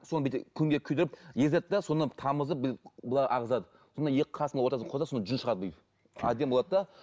соны бүйтіп күнге күйдіріп езеді де соны тамызып былай ағызады сонда екі қасының ортасына қойса сонда жүн шығады бүйтіп әдемі болады да